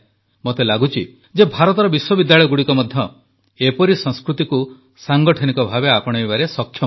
ମୋତେ ଲାଗୁଛି ଯେ ଭାରତର ବିଶ୍ୱବିଦ୍ୟାଳୟଗୁଡ଼ିକ ମଧ୍ୟ ଏପରି ସଂସ୍କୃତିକୁ ସାଂଗଠନିକ ଭାବେ ଆପଣାଇବାରେ ସକ୍ଷମ ଅଟନ୍ତି